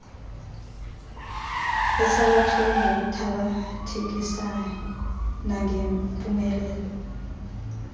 esalathiweyo ngokuthabathekisayo nangempumelelo